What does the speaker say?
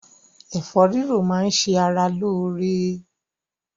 Ẹ̀fọ́ rírò máá ń ṣe ara lóore.